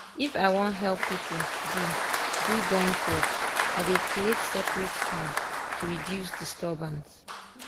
if i wan help people do do joint work i dey creat separete time to reduce disturbance.